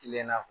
Kile na